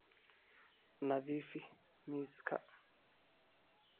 Nadiifi miiska.